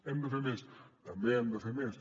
hem de fer més també hem de fer més